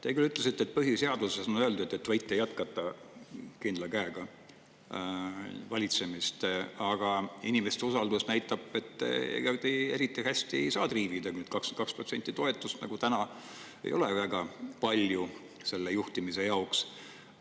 Te küll ütlesite, et põhiseaduses on öeldud, et te võite jätkata kindla käega valitsemist, aga inimeste usaldus näitab, et ega te eriti hästi ei saa nüüd triivida: 22% toetust nagu täna ei ole väga palju juhtimise jaoks.